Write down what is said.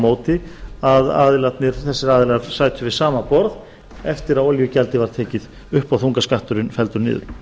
móti að þessir aðilar sætu við sama borð eftir að olíugjaldið var tekið upp og þungaskatturinn felldur niður